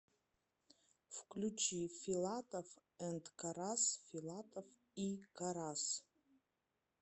включи филатов энд карас филатов и карас